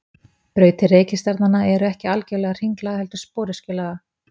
Brautir reikistjarnanna eru ekki algjörlega hringlaga heldur sporöskjulaga.